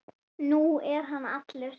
Nú er hann allur.